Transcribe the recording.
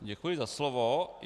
Děkuji za slovo.